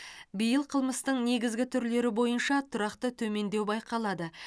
биыл қылмыстың негізгі түрлері бойынша тұрақты төмендеу байқалады